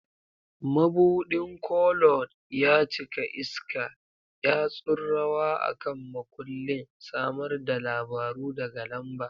Mabuɗin Koloard ya cika iska, yatsun rawa a kan makullin, samar da labaru daga lamba.